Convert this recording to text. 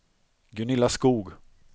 Gunilla Skoog